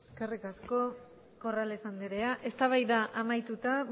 eskerrik asko corrales andrea eztabaida amaituta